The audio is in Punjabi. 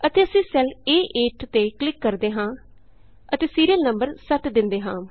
ਅਤੇ ਅਸੀਂ ਸੈੱਲ ਏ8 ਤੇ ਕਲਿਕ ਕਰਦੇ ਹਾਂ ਅਤੇ ਸੀਰੀਅਲ ਨੰਬਰ 7 ਦੇਂਦੇ ਹਾਂ